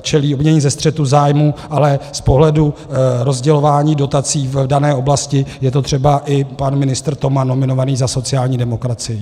čelí obvinění ze střetu zájmů, ale z pohledu rozdělování dotací v dané oblasti je to třeba i pan ministr Toman nominovaný za sociální demokracii.